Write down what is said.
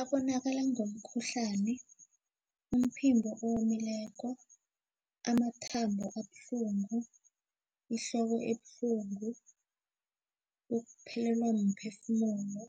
Abonakale ngomkhuhlani umphimbo owomileko amathambo abuhlungu ihloko ebuhlungu ukuphelelwa mphefumulo